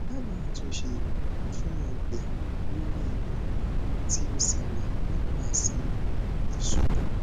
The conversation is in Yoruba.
dabaa atunse fun ọgbẹ lori ikun ti o ṣẹlẹ nipase isubu